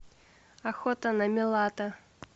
охота на милата